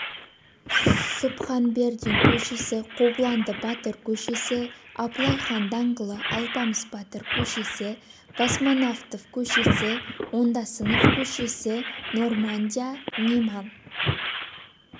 сұбханбердин көшесі қобыланды батыр көшесі абылайхан даңғылы алпамыс батыр көшесі космонавтов көшесі ондасынов көшесі нормандия неман